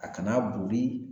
A kana bori